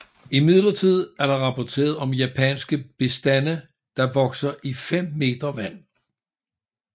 Imidlertid er der rapporteret om japanske bestande der vokser i 5 m vand